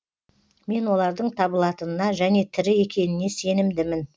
мен олардың табылатынына және тірі екеніне сенімдімін